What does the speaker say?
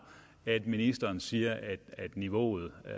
at ministeren siger at niveauet er